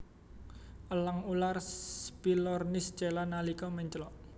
Elang ular Spilornis cheela nalika menclok